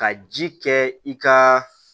Ka ji kɛ i ka